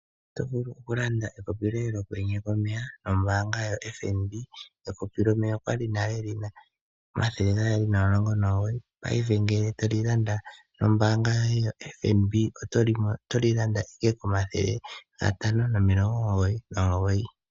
Oto vulu okulanda ekopi lyokuyenyeka omeya ombaanga ya FNB . Ekopi lyomeya okwali lina oondola 719 paife ngele oto li landa nombaanga yoye yaFNB otoli landa owala koondola 599.